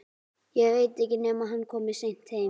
Ég veit ekki nema hann komi seint heim